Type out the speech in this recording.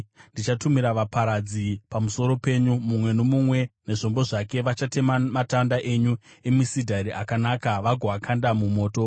Ndichatumira vaparadzi pamusoro penyu, mumwe nomumwe nezvombo zvake, uye vachatema matanda enyu emisidhari akanaka vagoakanda mumoto.